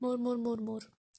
мур мур мур мур